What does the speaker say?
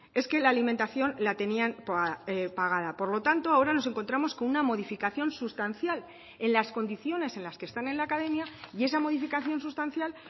es que la alimentación la tenían pagada por lo tanto ahora nos encontramos con una modificación sustancial en las condiciones en las que están en la academia y esa modificación sustancial